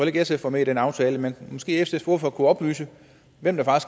ikke sf var med i den aftale men måske sfs ordfører kunne oplyse hvem